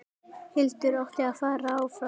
Hildur átti að fara áfram!